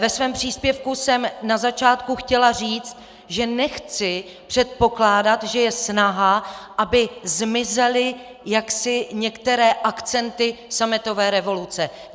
Ve svém příspěvku jsem na začátku chtěla říct, že nechci předpokládat, že je snaha, aby zmizely jaksi některé akcenty sametové revoluce.